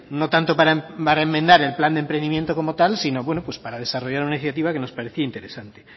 no tanto para enmendar el plan de emprendimiento como tal sino bueno pues para desarrollar una iniciativa que nos parecía interesante